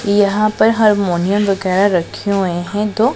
यहां पर हारमोनियम वगैरा रखे हुए हैं दो--